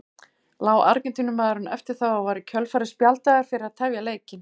Lá Argentínumaðurinn eftir það og var í kjölfarið spjaldaður fyrir að tefja leikinn.